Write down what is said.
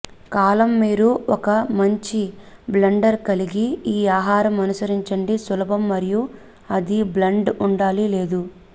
కాలం మీరు ఒక మంచి బ్లెండర్ కలిగి ఈ ఆహారం అనుసరించండి సులభం మరియు అది బ్లాండ్ ఉండాలి లేదు